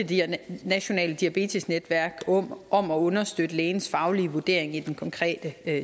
nationale diabetesnetværk om at understøtte lægens faglige vurdering i den konkrete